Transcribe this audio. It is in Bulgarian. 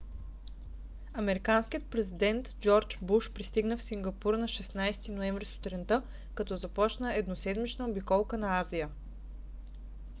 американският президент джордж у. буш пристигна в сингапур на 16 ноември сутринта като започна едноседмична обиколка на азия